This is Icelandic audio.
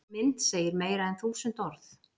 Mynd segir meira en þúsund orð